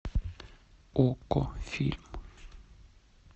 окко фильм